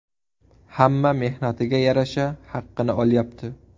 Hamma mehnatiga yarasha haqqini olyapti.